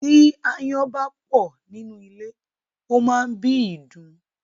Tí ááyán bá pọ̀ nínú ilé, ó máá ń bí ìdun